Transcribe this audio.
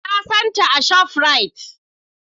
Na san ta a shafrite